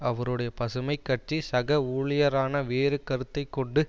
அவருடைய பசுமை கட்சி சக ஊழியரான வேறு கருத்தை கொண்டு